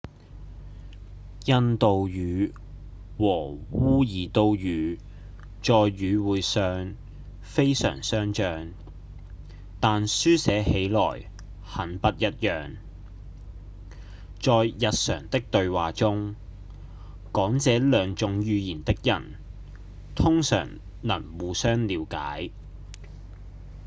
印度語和烏爾都語在語彙上非常相像但書寫起來很不一樣；在日常的對話中講這兩種語言的人通常能互相了解